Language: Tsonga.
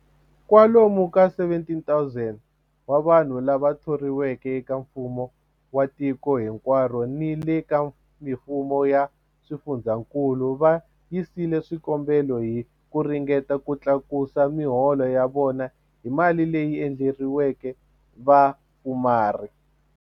Kwa lomu ka 17,000 wa vanhu lava thoriweke eka mfumo wa tiko hinkwaro ni le ka mifumo ya swifundzankulu va yisile swikombelo hi ku ringeta ku tlakusa miholo ya vona hi mali leyi endleriweke vapfumari.